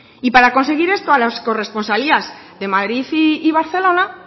y para conseguir esto a las corresponsalías de madrid y barcelona